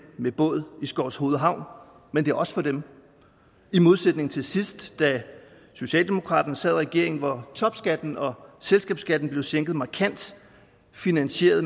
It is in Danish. med båd i skovshoved havn men det er også for dem i modsætning til sidst da socialdemokraterne sad i regering hvor topskatten og selskabsskatten blev sænket markant finansieret